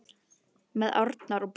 Með árnar að brún.